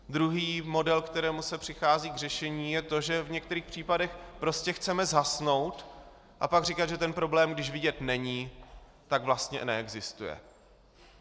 Druhý model, kterým se přichází k řešení, je to, že v některých případech prostě chceme zhasnout a pak říkat, že ten problém, když vidět není, tak vlastně neexistuje.